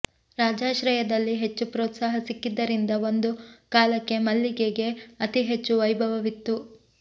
ರಾಜಾಶ್ರಯದಲ್ಲಿ ಹೆಚ್ಚು ಪ್ರೋತ್ಸಾಹ ಸಿಕ್ಕಿದ್ದರಿಂದ ಒಂದು ಕಾಲಕ್ಕೆ ಮಲ್ಲಿಗೆಗೆ ಅತಿ ಹೆಚ್ಚು ವೈಭವವಿತ್ತು